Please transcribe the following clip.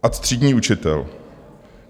Ad třídní učitel.